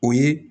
O ye